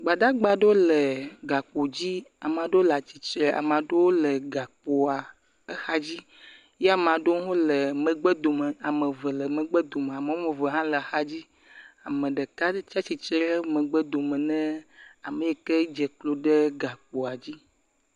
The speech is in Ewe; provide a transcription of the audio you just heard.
Gbadagba ɖewo le gakpo dzi ame aɖewo le atsitre ame aɖewo le gakpoa exa dzi ye ame aɖewo le megbe dome ame eve le megbe dome ame woame eve hã le axa dzi ame ɖeka tsi atsitre ɖe megbe dome ne ame yi ke dze klo ɖe gakpoa dzi.